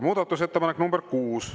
Muudatusettepanek nr 6.